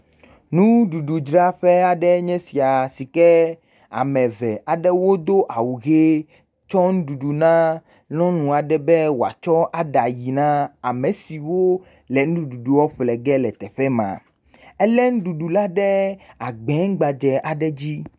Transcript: Nuɖuɖudzaƒe aɖe enye esia si ke ame eve aɖewo wodo awu ʋie tsɔ nuɖuɖu na nyɔnu aɖe be woatsɔ aɖa ayin a ame siwo le nuɖuɖu ƒlegɛ le teƒe ma. Elé nuɖuɖu la ɖe agbẽ gbadze aɖe dzi.